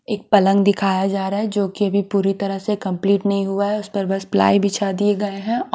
एक पलंग दिखाया जा रहा है जो की अभी पूरी तरह से कम्पलीट नहीं हुआ है उस पर बस प्लाई बिछा दिए गये है ।